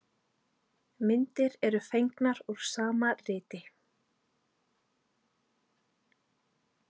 Myndir eru fengnar úr sama riti.